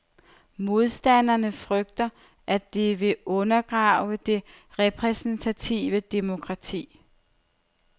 Modstanderne frygter, at det vil undergrave det repræsentative demokrati.